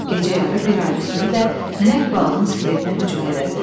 Gecə yarı bir ayrı sürü də nəhəng balığın skeletinə hücum elədi.